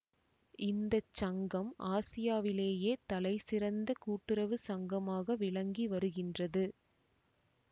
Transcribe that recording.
இந்த சங்கம் ஆசியாவிலேயே தலைசிறந்த கூட்டுறவு சங்கமாக விளங்கி வருகின்றது